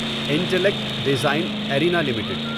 intellect design arena limited